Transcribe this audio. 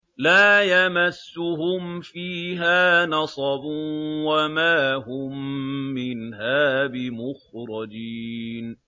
لَا يَمَسُّهُمْ فِيهَا نَصَبٌ وَمَا هُم مِّنْهَا بِمُخْرَجِينَ